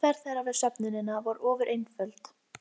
Vertu bara eins og þú ert venjulega.